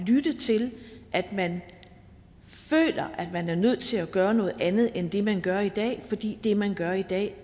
lytte til at man føler man er nødt til at gøre noget andet end det man gør i dag fordi det man gør i dag